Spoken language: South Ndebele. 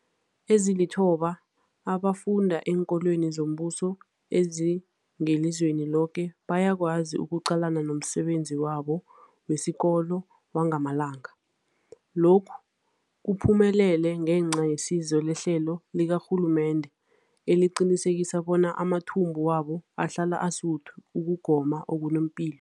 Ezilithoba abafunda eenkolweni zombuso ezingelizweni loke bayakwazi ukuqalana nomsebenzi wabo wesikolo wangamalanga. Lokhu kuphumelele ngenca yesizo lehlelo likarhulumende eliqinisekisa bona amathumbu wabo ahlala asuthi ukugoma okunepilo.